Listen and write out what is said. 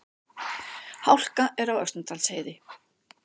Hálka er á Öxnadalsheiði